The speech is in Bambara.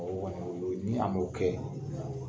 o kɔni ni a m'o kɛ.